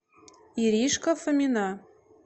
иришка фомина